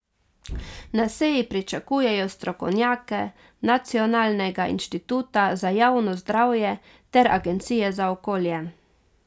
Na seji pričakujejo strokovnjake Nacionalnega inštituta za javno zdravje ter agencije za okolje.